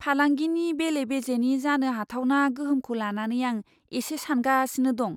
फालांगिनि बेले बेजेनि जानो हाथावना गोहोमखौ लानानै आं एसे सानगासिनो दं।